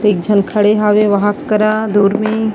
एकझन खड़े हवे वहाँ करा दूर में--